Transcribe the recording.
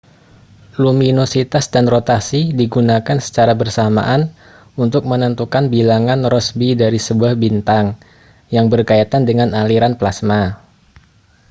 luminositas dan rotasi digunakan secara bersamaan untuk menentukan bilangan rossby dari sebuah bintang yang berkaitan dengan aliran plasma